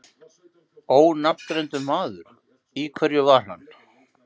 Ónafngreindur maður: Í hverju var hann?